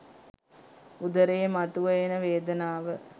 උදරයේ මතුව එන වේදනාව